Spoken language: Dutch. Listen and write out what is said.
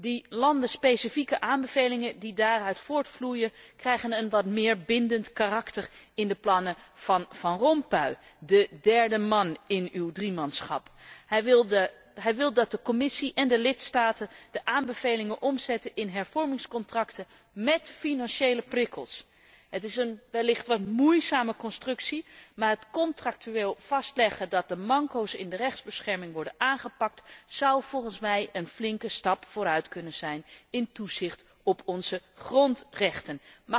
De landenspecifieke aanbevelingen die daaruit voortvloeien, krijgen een wat meer bindend karakter in de plannen van Van Rompuy, de derde man in uw driemanschap. Hij wil dat de Commissie en de lidstaten de aanbevelingen omzetten in hervormingscontracten met financiële prikkels. Het is wellicht een wat moeizame constructie, maar het contractueel vastleggen dat de manco's in de rechtsbescherming worden aangepakt, zou volgens mij een flinke stap vooruit kunnen zijn in het toezicht op onze grondrechten.